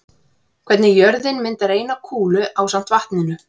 Hvernig jörðin myndar eina kúlu ásamt vatninu.